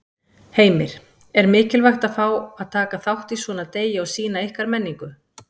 Heimir: Er mikilvægt að fá að taka þátt í svona degi og sýna ykkar menningu?